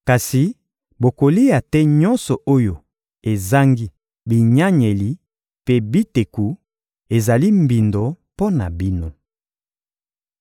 Kasi bokolia te nyonso oyo ezangi binyanyeli mpe biteku: ezali mbindo mpo na bino.